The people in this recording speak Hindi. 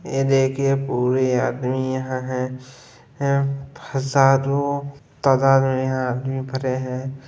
ये देखिए पूरे आदमी यहाँ हैं हम् फसाद वो तादाद में यहाँ आदमी भरे हैं।